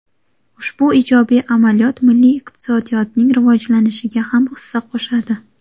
Ushbu ijobiy amaliyot milliy iqtisodiyotning rivojlanishiga ham hissa qo‘shadi.